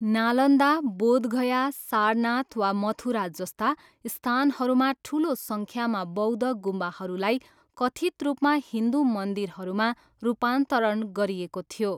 नालन्दा, बोधगया, सारनाथ वा मथुरा जस्ता स्थानहरूमा ठुलो सङ्ख्यामा बौद्ध गुम्बाहरूलाई कथित् रूपमा हिन्दु मन्दिरहरूमा रूपान्तरण गरिएको थियो।